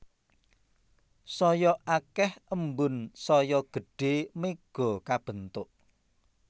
Saya akéh embun saya gedhé méga kabentuk